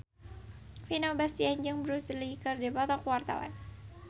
Vino Bastian jeung Bruce Lee keur dipoto ku wartawan